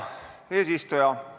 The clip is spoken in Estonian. Hea eesistuja!